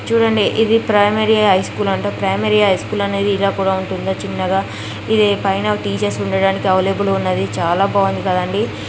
చుడండి ఇది primary high school అంట ప్రైమరీ హై స్కూల్ అనేది ఇలా కూడా ఉంటుందా. చిన్నగా ఇది పైన టీచర్స్ ఉండడానికి అవైలబుల్ గా ఉన్నది. చాలా బాగుంది కదండీ.